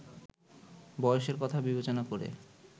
বয়সের কথা বিবেচনা করে